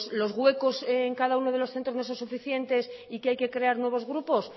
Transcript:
los huecos en cada uno de los centros no son suficientes y que hay que crear nuevos grupos